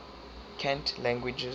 cant languages